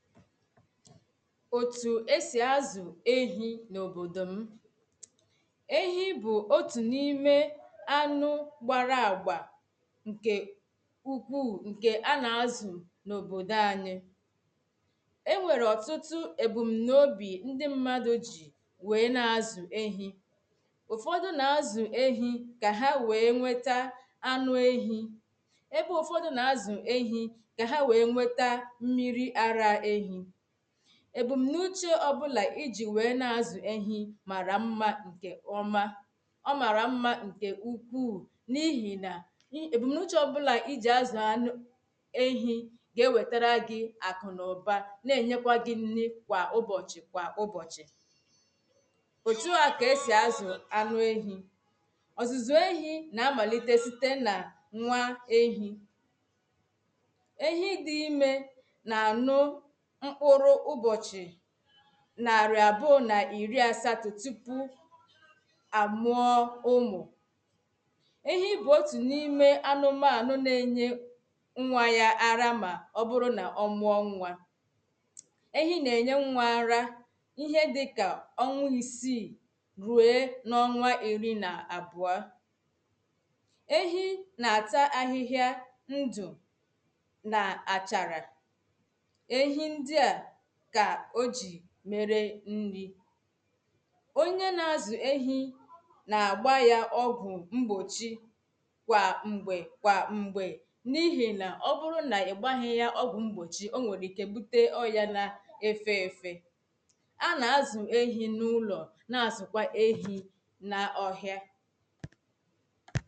otū é sì azụ ehī na obodò m ehí bụ otū na ime anụ gbara agba nkè nke ukwuu nke a na-azụ na obodō anyị̀ e nwere ọtụtụ ebumnaobi ndị mmadụ̀ ji weè ná:zụ ehī ụfọdụ na-azụ́ ehī ka ha weè nwetà anụ ehī ebe ụfọdụ na-azụ ehī ka ha weè nweta mmiri ara ehī ebumnauche ọbụla iji weè na-azụ ehī mara mmà ọmā ọmarà mmà nke ukwuù ńí:hi nà ebumnauche ọbụla iji azụ anụ éhī ga-ewetere gi akụ na ụbà na-enyekwa gị nni kwa ụbọchị kwa ụbọchị otū a ka e si azụ anụ ehì ọzụzụ̄ ehi na-amalite site na nwa ehì ehi dị ime na anụ mkpụrụ ụbọchị nari abụọ na iri asato tupu a mụọ ụmụ̄ ehi bụ otū na ime anụmanụ̄ na enye nwa ya ara ma ọbụrụ na ọ mụọ nwa ehi na-enye nwa ara ihe dịka ọnwā isi rue na ọnwā iri na abụa ehi na-ata ahịhịa ndụ̄ na acharā ehi ndị a ka o ji mere nrì onye na-azu ehi na-agba ya ọgwụ̄ mgbochi kwà mgbe kwà mgbē na ihi na ọbụrụ na ị gbaghị ya ọgwụ̄ mgbochì o nwere ike bute ọyà na efē efē a na-azụ̀ ehī na ụlọ̀ na-azụkwà ehī na ọhịā